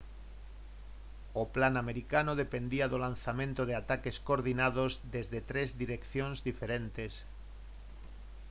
o plan americano dependía do lanzamento de ataques coordinados desde tres direccións diferentes